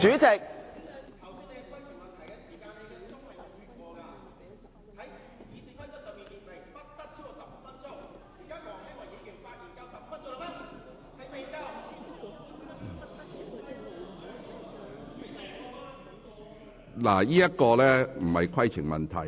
這並不是規程問題。